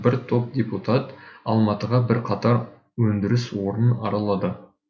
бір топ депутат алматыдағы бірқатар өндіріс орнын аралады